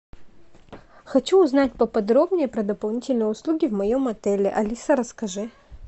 хочу узнать поподробнее про дополнительные услуги в моем отеле алиса расскажи